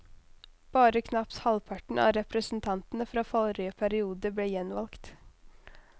Bare knapt halvparten av representantene fra forrige periode ble gjenvalgt.